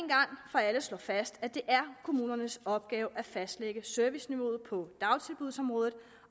for alle slå fast at det er kommunernes opgave at fastlægge serviceniveauet på dagtilbudsområdet